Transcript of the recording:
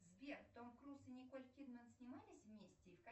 сбер том круз и николь кидман снимались вместе